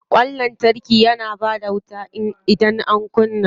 Ƙwan lantarki na bada wuta idan an kunna.